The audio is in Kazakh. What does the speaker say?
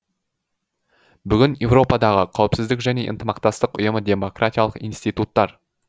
бүгін еуропадағы қауіпсіздік және ынтымақтастық ұйымы демократиялық институттар